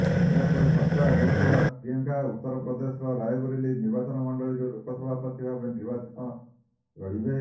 ଏହାପରେ ଚର୍ଚ୍ଚା ହେଉଥିଲା ପ୍ରିୟଙ୍କା ଉତ୍ତର ପ୍ରଦେଶର ରାୟବରେଲୀ ନିର୍ବାଚନମଣ୍ଡଳୀରୁ ଲୋକସଭା ପ୍ରାର୍ଥୀ ଭାବେ ନିର୍ବାଚନ ଲଢିବେ